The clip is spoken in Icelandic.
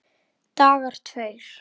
Dagar tveir